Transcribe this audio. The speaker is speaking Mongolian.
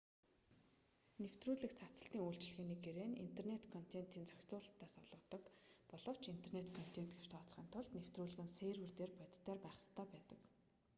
нэвтрүүлэг цацалтын үйлчилгээний гэрээ нь интернэт контентын зохицуулалтыг олгодог боловч интернэт контент гэж тооцохын тулд нэвтрүүлэг нь сервер дээр бодитоор байх ёстой байдаг байна